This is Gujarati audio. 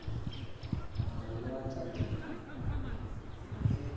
હા એ વાત સાચી તારી